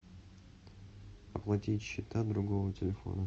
оплатить счета другого телефона